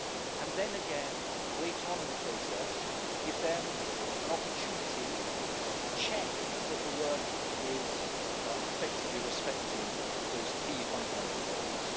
And then again, later on in the process, give them an opportunity to check that the work is effectively respecting those key fundamental rights.